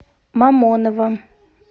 мамоново